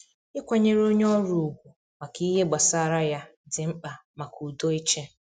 Ikwanyere onye ọrụ ugwu maka ihe gbasara ya di mkpa maka udo ịchị.